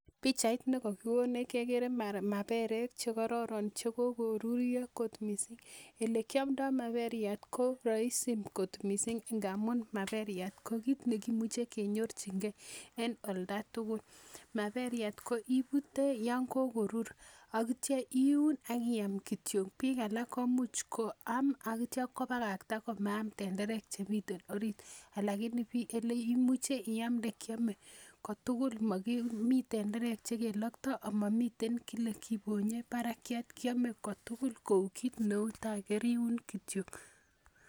Pichait nekokikonech kekere maperek chekororon chekokoruiyo kot missing elekiomdoo maperiat ko roisi kot missing amun maperiat ko kit nekimuche kenyorchigee en oldatugul maperiat ko ibute yan kokorur ak itya iun ak iam kityo biik alak komuch koam ak itya kobakakta komaam tenderek chemiten orit lakini eleimuch iamde kiome kotugul momii tenderek chekiloktoo amomiten kike kibonye barakiat kiome kotugul kou kit neu tai keriun kityo